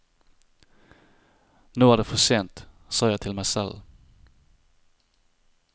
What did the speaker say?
Nå er det for sent, sa jeg til meg selv.